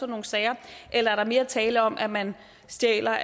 nogle sager eller er der mere tale om at man stjæler